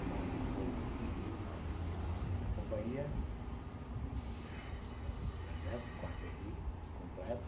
Então, ali ficou a minha companhia, que é o exército Quaterri, completo,